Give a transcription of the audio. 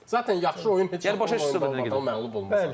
Zatən yaxşı oyun heç vaxt məğlub olmayasan sən mənə.